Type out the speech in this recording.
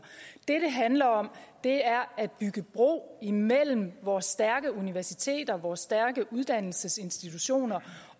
det det handler om er er at bygge bro imellem vores stærke universiteter og vores stærke uddannelsesinstitutioner